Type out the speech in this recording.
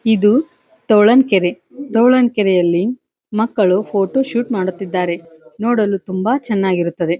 ಇದು ತೋಳಂನಕೆರೆ ತೋಳಂನಕೆರೆಯಲ್ಲಿ ಮಕ್ಕಳು ಫೋಟೋ ಶೂಟ್ ಮಾಡುತ್ತಿದ್ದಾರೆ ನೋಡಲು ತುಂಬಾ ಚನ್ನಾಗಿರುತ್ತದೆ.